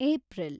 April